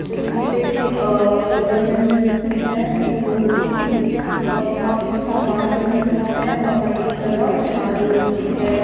जिस पे अ तोरण लगी हुई है फूलो की अ काफी सामान लग रखा है बाहर की तरफ झाड़ू की है।